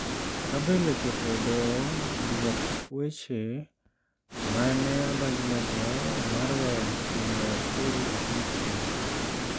Gabriel ochopo e doho dwok weche ma ne odonjnego mar weyo chulo osuru e piny Spain